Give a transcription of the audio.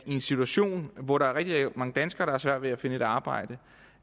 i en situation hvor der er rigtig mange danskere svært ved at finde et arbejde